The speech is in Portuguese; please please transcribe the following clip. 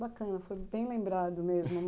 Bacana, foi bem lembrado mesmo.